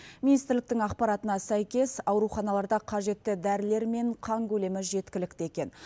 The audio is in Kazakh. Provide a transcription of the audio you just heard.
министрліктің ақпаратына сәйкес ауруханаларда қажетті дәрілер мен қан көлемі жеткілікті екен